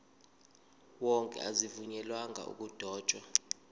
wonke azivunyelwanga ukudotshwa